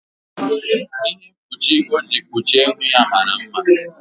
Ihe mkpuchi o ji kpuchie ihu ya mara mma.